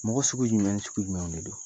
Mɔgɔ sugu jumɛn ni sugu jumɛn de don